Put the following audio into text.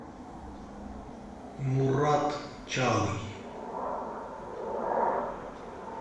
мурат чалый